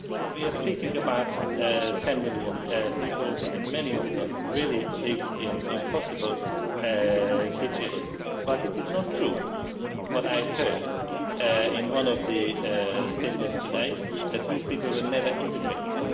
We are speaking about ten million people, many of them living in impossible situations. It is not true, as I heard in one of the statements today, that these people were never integrated.